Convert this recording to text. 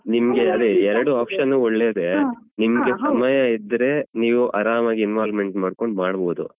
ನಿಮ್ಗೆ ಅದೇ ಎರಡು option ಒಳ್ಳೇದೇ ನಿಮ್ಗೆ ಸಮಯ ಇದ್ರೆ ನೀವು ಆರಾಮಾಗಿ involvement ಮಾಡ್ಕೊಂಡು ಮಾಡ್ಬೋದು.